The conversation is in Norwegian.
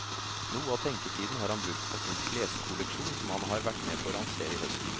Noe av tenketiden har han brukt på sin kleskolleksjon som han har vært med på å lansere i høst.